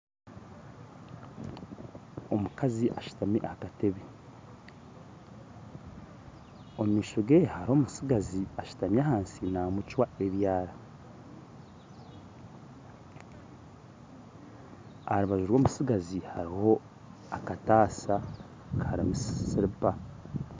Omukazi ashutami aha katebe omu maisho ge hariho omutsigazi ashutami ahansi namucwa ebyara aha rubaju rw'omutsigazi hariho akataasa karimu siripa